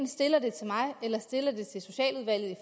stille det til mig eller ved at stille det til socialudvalget